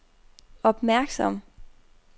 opmærksom